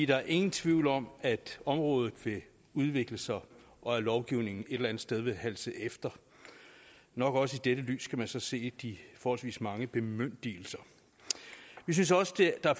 der er ingen tvivl om at området vil udvikle sig og at lovgivningen et eller andet sted vil halse efter nok også i dette lys skal man så se de forholdsvis mange bemyndigelser vi synes også der er